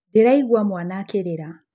Ndĩraigua mwaana akĩrĩra.